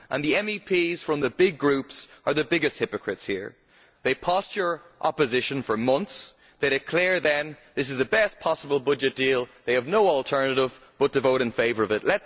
The MEPs from the big groups are the biggest hypocrites here. They posture opposition for months, then declare this is the best possible budget deal and that they have no alternative but to vote in favour of it.